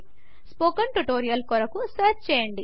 spoken tutorial కొరకు search చేయండి